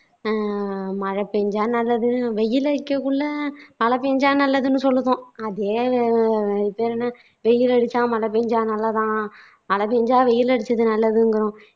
அஹ் மழை பெஞ்சா நல்லது வெயில் அடிக்கக்குள்ள மழை பெஞ்சா நல்லதுன்னு சொல்லுவோம், அதே இதென்ன வெயில் அடிச்சா மழை பெஞ்சா நல்லதாம், மழை பெஞ்சா வெயில் அடிச்சது நல்லதுங்குறோம்